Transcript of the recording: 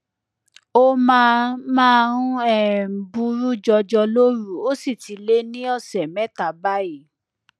ó máa máa ń um buruú jọjọ lóru ó sì ti lé ní ọsẹ mẹta báyìí